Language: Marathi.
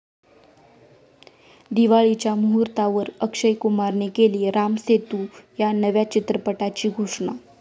दिवाळीच्या मुहूर्तावर अक्षय कुमारने केली राम सेतू या नव्या चित्रपटाची घोषणा